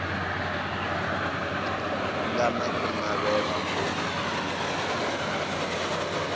nga na ku navela ko